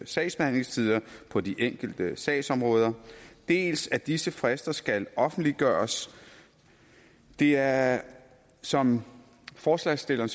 sagsbehandlingstider på de enkelte sagsområder dels at disse frister skal offentliggøres det er som forslagsstillerne